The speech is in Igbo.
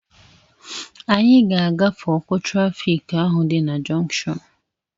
Anyị ga-agafe ọkụ trafịk ahụ dị na junkshọnu